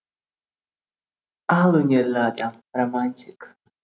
ал өнерлі адам романтик